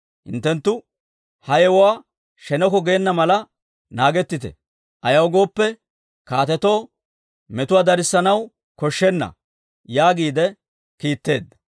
Hinttenttu ha yewuwaa sheneko geena mala naagettite. Ayaw gooppe, kaatetoo metuwaa darissanaw koshshenna» yaagiide kiitteedda.